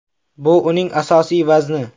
Bu uning asosiy vazni.